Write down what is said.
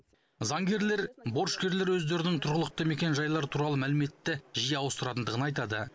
заңгерлер борышкерлер өздерінің тұрғылықты мекенжайлары туралы мәліметті жиі ауыстыратындығын айтады